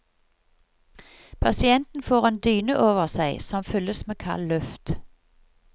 Pasienten får en dyne over seg som fylles med kald luft.